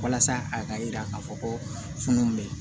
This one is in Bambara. Walasa a ka yira k'a fɔ ko funun be yen